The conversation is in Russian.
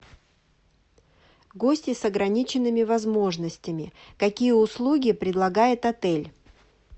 гости с ограниченными возможностями какие услуги предлагает отель